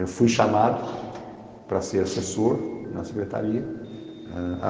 Eu fui chamado para ser assessor na secretaria.